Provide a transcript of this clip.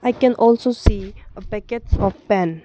I can also see a packets of pen.